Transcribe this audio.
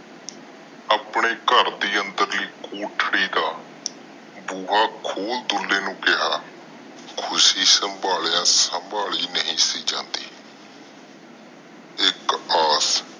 ਆਪਣੇ ਘਰ ਦੇ ਅੰਦਰਲੀ ਲੋਥਰੀ ਦਾ ਬੂਹਾ ਖੋਲ ਦੁਲੇ ਨੂੰ ਕਿਹਾ ਖੁਸ਼ੀ ਸੰਬਾਹਲੀਆਂ ਸੰਭਲੀ ਨਹੀਂ ਸੀ ਜਾਂਦੀ ਇਕ ਐੱਸ